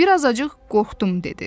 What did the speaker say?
Bir azacıq qorxdum dedi.